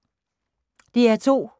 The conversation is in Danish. DR2